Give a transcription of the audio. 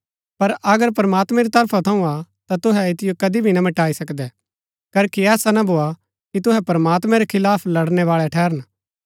पर अगर प्रमात्मैं री तरफा थऊँ हा ता तुहै ऐतिओ कदी भी ना मिटाई सकदै करखी ऐसा ना भोआ कि तुहै प्रमात्मैं रै खिलाफ लड़नैवालै ठहरन